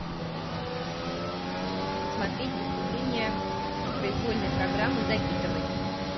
посмотреть выступление произвольной программы загитовой